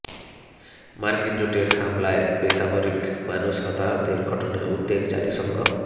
মার্কিন জোটের হামলায় বেসামরিক মানুষ হতাহতের ঘটনায় উদ্বেগে জাতিসংঘ